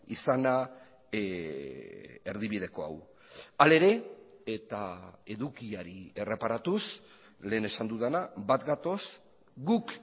izana erdibideko hau hala ere eta edukiari erreparatuz lehen esan dudana bat gatoz guk